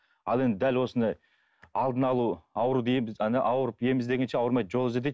ал енді дәл осындай алдын алу ауру дейміз ауырып ем іздегенше ауырмай жол ізде дейді